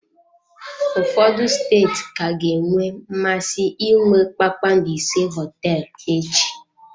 Ụfọdụ steeti ka ga-enwe mmasị inwe kpakpando ise hoteelu echi.